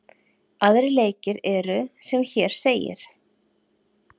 Aðrir leikir eru sem hér segir: